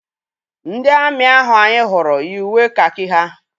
Ndị amị ahụ anyị hụrụ yi uwe kakị ha.